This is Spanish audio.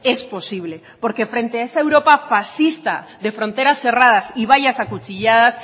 es posible porque frente a esa europa farsista de fronteras cerradas y vallas acuchilladas